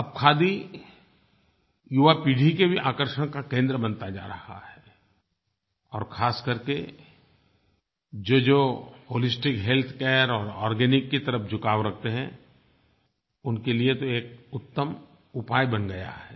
अब खादी युवा पीढ़ी के भी आकर्षण का केंद्र बनता जा रहा है और खास करके जोजो होलिस्टिक हेल्थ केयर और आर्गेनिक की तरफ़ झुकाव रखते हैं उनके लिए तो एक उत्तम उपाय बन गया है